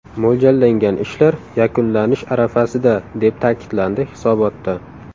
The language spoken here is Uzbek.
Mo‘ljallangan ishlar yakunlanish arafasida, deb ta’kidlandi hisobotda.